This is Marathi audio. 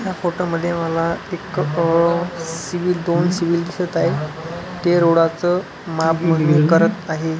ह्या फोटो मध्ये मला एक अह सिविल दोन सिविल दिसत आहेत ते रोडाच मापमोजणी करत आहे.